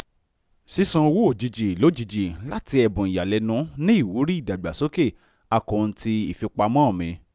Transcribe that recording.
ṣíṣàn owó ojijì lojijì láti ẹ̀bùn ìyàlẹ́nu ní ìwúrí ìdàgbàsókè akọunti ìfipamọ́ mi